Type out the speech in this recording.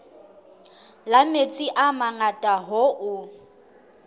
la metsi a mangata hoo